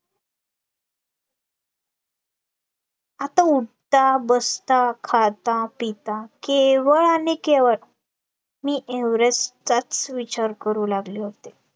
आता उठता, बसता, खाता, पिता केवळ आणि केवळ मी एव्हरेस्टचाच विचार करू लागले होते